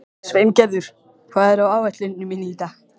Sveingerður, hvað er á áætluninni minni í dag?